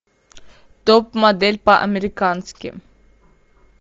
топ модель по американски